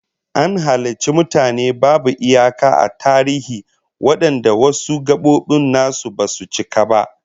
An halicci mutane babu iyaka a tarihi wadanda wasu gabobin nasu basu cika ba